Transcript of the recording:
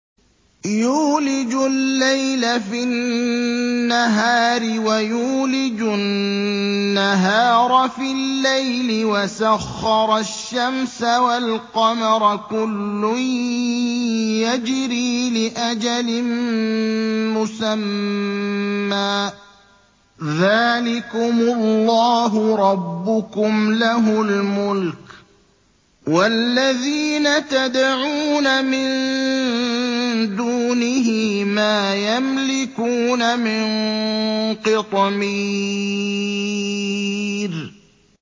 يُولِجُ اللَّيْلَ فِي النَّهَارِ وَيُولِجُ النَّهَارَ فِي اللَّيْلِ وَسَخَّرَ الشَّمْسَ وَالْقَمَرَ كُلٌّ يَجْرِي لِأَجَلٍ مُّسَمًّى ۚ ذَٰلِكُمُ اللَّهُ رَبُّكُمْ لَهُ الْمُلْكُ ۚ وَالَّذِينَ تَدْعُونَ مِن دُونِهِ مَا يَمْلِكُونَ مِن قِطْمِيرٍ